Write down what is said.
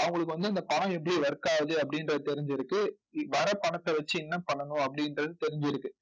அவங்களுக்கு வந்து இந்த பணம் எப்படி work ஆகுது அப்படின்றது தெரிஞ்சிருக்கு. வர்ற பணத்தை வச்சு என்ன பண்ணணும் அப்படின்றது தெரிஞ்சிருக்கு.